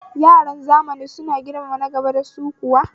Yaran zamanin kuwa suna girmama nagaba dasu kuwa?